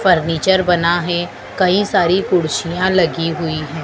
Furniture बना है कई सारी कुर्सियां लगी हुई है।